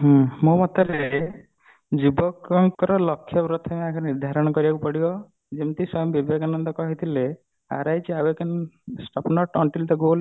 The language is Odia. ହୁଁ ମୋ ମତରେ ଯୁବକ ଙ୍କର ଲକ୍ଷ୍ୟ ପ୍ରଥମେ ଆଗେ ନିର୍ଧାରଣ କରିବାକୁ ପଡିବ